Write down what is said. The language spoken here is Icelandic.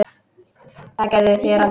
Það gerið þér aldrei.